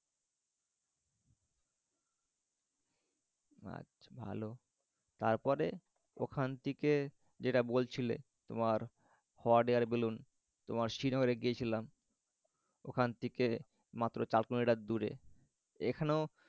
আচ্ছা hello তারপরে ওখান থেকে যেটা বলছিলে তোমার hot air balloon তোমার শ্রীনগরে গিয়েছিলাম। ওখান থেকে মাত্র চার কিলোমিটার দূরে। এখানেও